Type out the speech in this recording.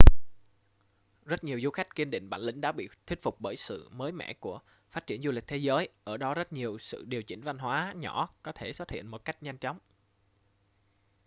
rất nhiều du khách kiên định bản lĩnh đã bị thuyết phục bởi sự mới mẻ của phát triển du lịch thế giới ở đó rất nhiều sự điều chỉnh văn hóa nhỏ có thể xuất hiện một cách nhanh chóng